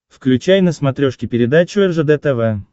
включай на смотрешке передачу ржд тв